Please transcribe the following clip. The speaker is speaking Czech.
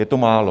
Je to málo.